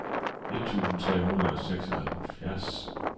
et tusind tre hundrede og seksoghalvfjerds